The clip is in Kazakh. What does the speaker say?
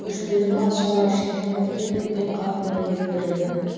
көшпелі мал шаруашылығы бірте бірте қалпына келтірілді